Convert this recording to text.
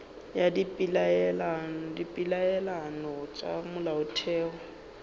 ya ka dipeelano tša molaotheo